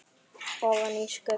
Ofan í skurði, já?